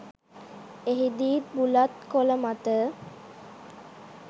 එහිදීත් බුලත් කොළ මත